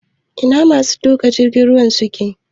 Ina masu tuƙa jirgin ruwan suke?